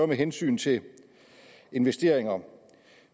med hensyn til investeringer